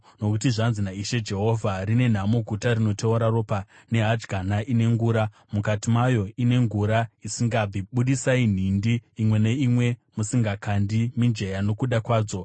“ ‘Nokuti zvanzi naIshe Jehovha: “ ‘Rine nhamo guta rinoteura ropa, nehadyana ine ngura, mukati mayo, ine ngura isingabvi. Budisai nhindi imwe neimwe musingakandi mijenya nokuda kwadzo.